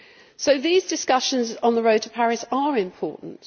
So these discussions on the road to Paris are important.